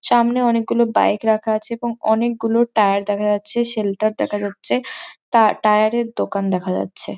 সামনে অনেক গুলো বাইক রাখা আছে এবং অনেক গুলো টায়ার দেখা যাচ্ছে। শেল্টার দেখা যাচ্ছে টা টায়ার -এর দোকান দেখা যাচ্ছে ।